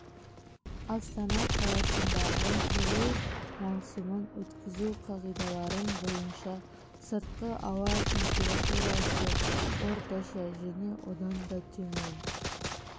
астана қаласындағы жылу маусымын өткізу қағидаларын бойынша сыртқы ауа температурасы орташа және одан да төмен